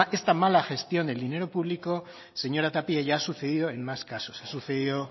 esta mala gestión del dinero público señora tapia ya ha sucedido en más casos ha sucedido